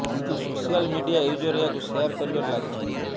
କିନ୍ତୁ social media user ଏହାକୁ share କରିବାରେ ଲାଗିଛନ୍ତି